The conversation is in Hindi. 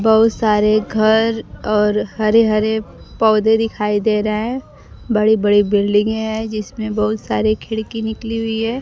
बहुत सारे घर और हरे हरे पौधे दिखाई दे रहे हैं बड़ी बड़ी बिल्डिंगे हैं जिसमें बहुत सारे खिड़की निकली हुई है।